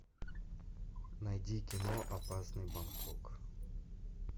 найди кино опасный бангкок